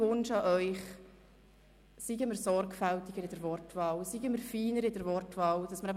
Meine Bemerkung ist nun wahrscheinlich eher emotional geprägt.